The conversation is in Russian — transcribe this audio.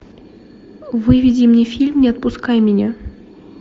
выведи мне фильм не отпускай меня